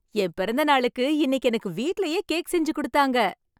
என் பிறந்தநாளுக்கு இன்னைக்கு எனக்கு வீட்டிலேயே கேக் செஞ்சு கொடுத்தாங்க